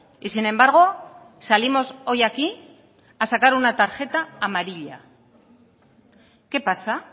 y sin embargo salimos hoy aquí a sacar una tarjeta amarilla qué pasa